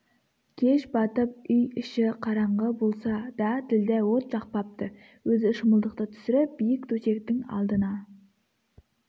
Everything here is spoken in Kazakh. кеш батып үй іші қараңғы болса да ділдә от жақпапты өзі шымылдықты түсіріп биік төсектің алдына